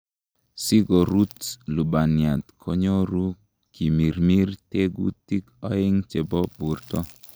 Sikorut lubaniat konyolu kimirmir tekutik oeng' chebo borto.